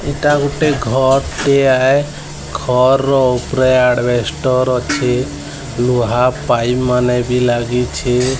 ଏଇଟା ଗୋଟେ ଘର୍ ଟେ ଆଏ ଘର୍ ର ଓପରେ ଆଡ଼ବେଷ୍ଟର ଅଛି ଲୁହା ପାଇପ୍ ମାନେ ବି ଲାଗିଛି।